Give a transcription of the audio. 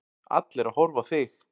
Allir að horfa á þig.